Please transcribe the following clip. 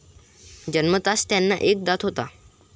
जन्मताच त्यांना एक दात होता.